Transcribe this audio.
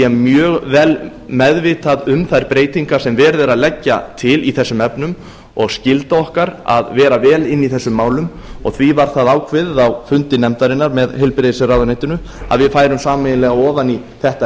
mjög vel meðvitað um þær breytingar sem verið er að leggja til í þessum efnum og skylda okkar að vera vel inni í þessum málum því var það ákveðið á fundi nefndarinnar með heilbrigðisráðuneytinu að við færum sameiginlega ofan í þetta